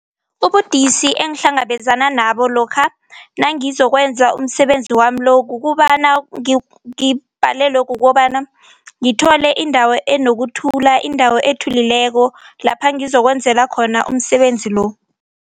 Ubudisi engihlangabezana nabo lokha nangizokwenza umsebenzi wami lo kukobana ngibhalelwe kukobana ngithole indawo enokuthula indawo ethulileko lapha ngizokwenzela khona umsebenzi lo.